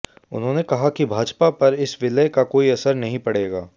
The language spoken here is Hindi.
उन्होंने कहा कि भाजपा पर इस विलय का कोई असर नहीं पड़ेगा